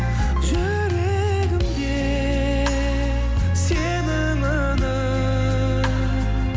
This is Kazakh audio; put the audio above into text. жүрегімде сенің үнің